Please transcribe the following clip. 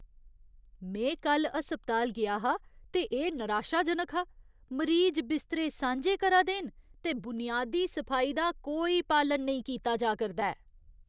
में कल्ल अस्पताल गेआ हा ते एह् नराशाजनक हा। मरीज बिस्तरे सांझे करा दे न ते बुनियादी सफाई दा कोई पालन नेईं कीता जा करदा ऐ।